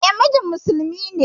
E, mijin musulmi ne.